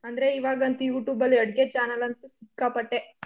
ಅಂದ್ರೆ ಇವಾಗಂತು youtube ಅಲ್ಲಿ ಅಡ್ಗೆ channel ಅಂತೂ ಸಿಕ್ಕಾಪಟ್ಟೆ.